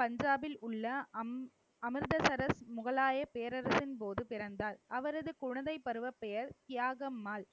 பஞ்சாபில் உள்ள அம்~ அமிர்தசரஸ் முகலாய பேரரசின் போது பிறந்தார். அவரது குழந்தை பருவப் பெயர் தியாகம்மாள்